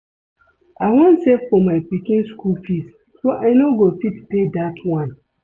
I wan save for my pikin school fees so I no go fit pay dat one